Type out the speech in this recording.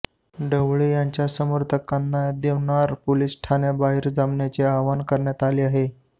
ढवळे यांच्या समर्थकांना देवनार पोलीस ठाण्याबाहेर जमण्याचे आवाहन करण्यात आले आहे